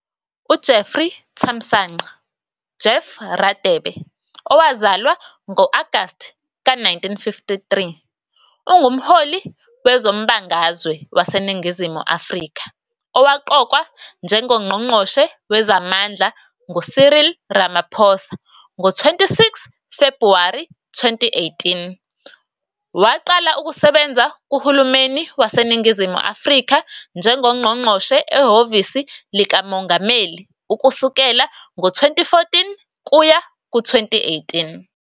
UJeffrey Thamsanqa "Jeff" Radebe, owazalwa ngo-Agasti ka-1953, ungumholi wezombangazwe waseNingizimu Afrika owaqokwa njengoNgqongqoshe Wezamandla nguCyril Ramaphosa ngo-26 Febhuwari 2018. Waqala ukusebenza kuhulumeni waseNingizimu Afrika njengoNgqongqoshe ehhovisi likaMongameli ukusukela ngo-2014 kuya ku-2018.